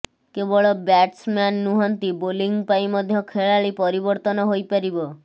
କେବଳ ବ୍ୟାଟସ୍ମ୍ୟାନ୍ ନୁହନ୍ତି ବୋଲିଂ ପାଇଁ ମଧ୍ୟ ଖେଳାଳି ପରିବର୍ତ୍ତନ ହୋଇପାରିବ